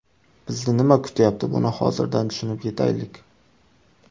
Bizni nima kutyapti, buni hozirdan tushunib yetaylik.